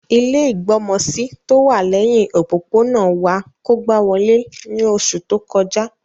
Ilẹ́ ìgbọmọsí tówà lẹhin òpópónà wa kógba wolé ni oṣu to kọja.